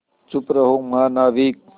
चुप रहो महानाविक